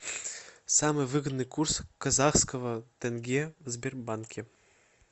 самый выгодный курс казахского тенге в сбербанке